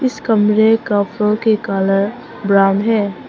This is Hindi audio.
इस कमरे का फ्लोर के कलर ब्राउन है।